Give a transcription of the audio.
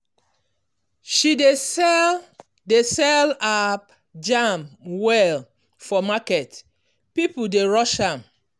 she dey sell dey sell her jam well for market people dey rush am.